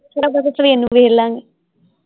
ਥੋੜਾ ਬਹੁਤਾ ਸਵੇਰ ਨੂੰ ਵੇਖਲਾਂਗੇ।